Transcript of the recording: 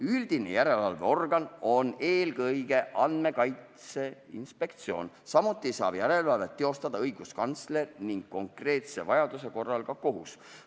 Üldine järelevalveorgan on eelkõige Andmekaitse Inspektsioon, samuti saab järelevalvet teostada õiguskantsler ning konkreetse vaidluse korral ka kohus.